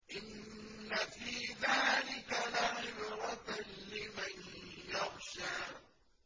إِنَّ فِي ذَٰلِكَ لَعِبْرَةً لِّمَن يَخْشَىٰ